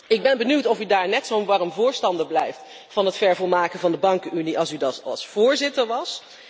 Ik ben benieuwd of u daar net zo'n warm voorstander blijft van het vervolmaken van de bankenunie als u dat als voorzitter was.